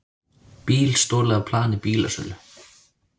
Bíl stolið af plani bílasölu